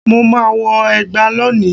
Mo ma wọ ẹgba lóni